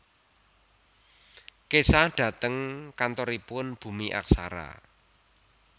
Kesah dhateng kantoripun Bumi Aksara